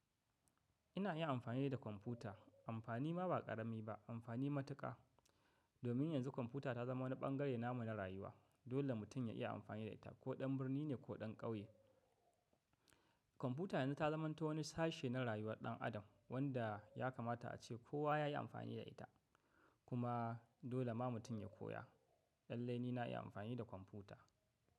Ina yin amfani da kwamfuta amfani ma ba ƙarami ba amfani matuƙa. Domin yanzu kwamfuta ta zama wani ɓangare namu na rayuwa. Dole mutum ya iya amfani da ita ko ɗan birni ne ko ɗan ƙauye. Kwamfuta yanzu ta zamanta wani sashe na rayuwar ɗan adam wanda ya kamata ace kowa ya yi amfani da ita. Kuma dole ma mutum ya koya lallai ni na yi amfani da kwamfuta.